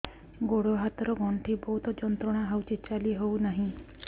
ଗୋଡ଼ ହାତ ର ଗଣ୍ଠି ବହୁତ ଯନ୍ତ୍ରଣା ହଉଛି ଚାଲି ହଉନାହିଁ